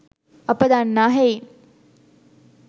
අප දන්නා හෙයින්